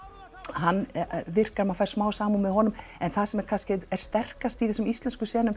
hann virkar maður fær smá samúð með honum en það sem kannski er sterkast í þessum íslensku